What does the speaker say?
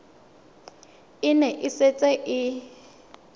e ne e setse e